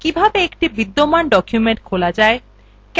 কিভাবে একটি বিদ্যমান document খোলা যায়